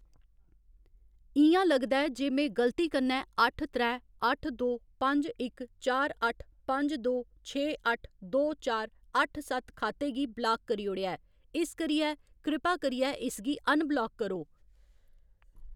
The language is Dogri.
इ'यां लगदा ऐ जे में गलती कन्नै अट्ठ त्रै अट्ठ दो पंज इक चार अट्ठ पंज दो छे अट्ठ दो चार अट्ठ सत्त खाते गी ब्लाक करी ओड़ेआ ऐ, इस करियै कृपा करियै इसगी अनब्लाक करो।